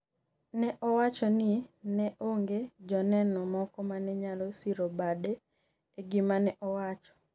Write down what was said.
ne owacho ni ne onge joneno moko mane nyalo siro bade e gimane owacho